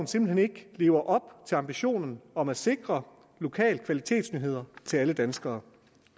simpelt hen ikke lever op til ambitionen om at sikre lokale kvalitetsnyheder til alle danskere